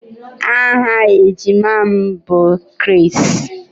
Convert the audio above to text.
Aha ejima m bụ Chris